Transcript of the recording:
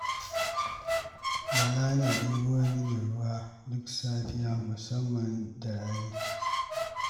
Bala yana ɗebo mini ruwa duk safiya, musamman da rani.